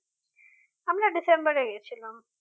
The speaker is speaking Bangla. আমরা ডিসেম্বরে গিয়েছিলাম